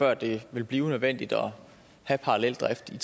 at det vil blive nødvendigt at have paralleldrift i